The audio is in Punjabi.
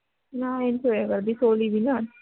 ਨਾ ਇਹ ਨੀ ਸੋਇਆ ਕਰਦੀ ਸੋ ਲਈ ਵੀ ਨਾ